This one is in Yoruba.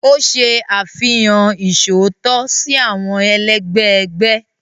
O ṣe àfihàn iṣootọ si awọn ẹlẹgbẹ ẹgbẹ.